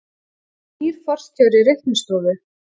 Nýr forstjóri Reiknistofu